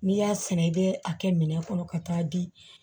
N'i y'a sɛnɛ i bɛ a kɛ minɛn kɔnɔ ka taa di